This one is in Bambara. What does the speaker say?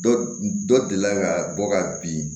Dɔ dɔ deli ka bɔ ka bin